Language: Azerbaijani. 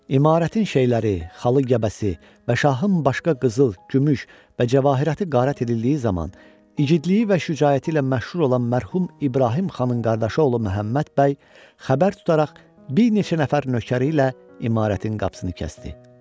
İmarətin şeyləri, xalı, gəbəsi və şahın başqa qızıl, gümüş və cəvahiratı qarət edildiyi zaman, igidliyi və şücaəti ilə məşhur olan mərhum İbrahim Xanın qardaşı oğlu Məhəmməd bəy xəbər tutaraq bir neçə nəfər nökəri ilə imarətin qapısını kəsdi.